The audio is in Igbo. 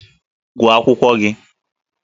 Gụọ akwụkwọ gị!